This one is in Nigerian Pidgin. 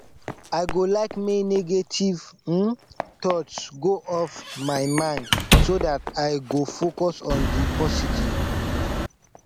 i go like make negative um thoughts go off my mind so dat i go focus on di positive